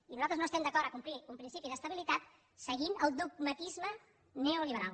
i nosaltres no estem d’acord a complir un principi d’estabilitat seguint el dogmatisme neoliberal